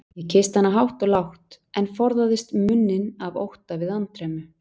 Ég kyssti hana hátt og lágt, en forðaðist munninn af ótta við andremmu.